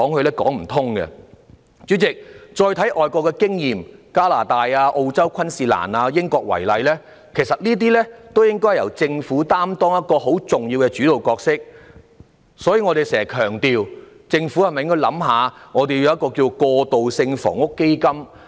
代理主席，大家再看看外國的經驗，以加拿大、澳洲昆士蘭、英國為例，其實這些地方也由政府擔當很重要的主導角色，所以我們時常強調，香港政府是否需要考慮設立一個"過渡性房屋基金"？